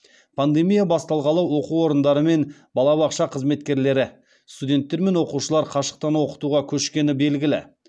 пандемия басталғалы оқу орындары мен балабақша қызметкерлері студенттер мен оқушылар қашықтан оқытуға көшкені белгілі